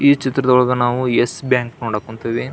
ಈ ಚಿತ್ರದೊಳಗೆ ನಾವು ಯೆಸ್ ಬ್ಯಾಂಕ್ ನೋಡಕ್ ಕುಂತೀವಿ.